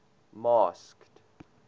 masked